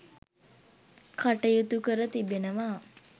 කටයුතු කර තිබෙනවා.